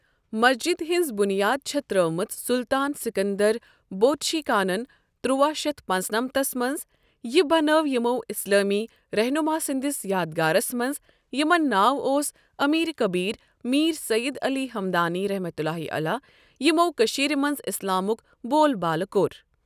مسجد ہِنٛز بُنیاد چھےٛ ترٲومٔژ سُلطان سِکندر بۄٚتشیٖکانَن ۱۳۹۵ ٕ مَنٛز یہِ بناؤ اِمَو اسلأمی رَہنُما سٔنٛدس یادگارَس مَنٛز یِمن ناو اوس امیٖر کبیٖر میٖر سید علی ہَمَدانی یِمَو کٔشیٖر مَنٛز اسلامُک بول بالہ کۄٚر۔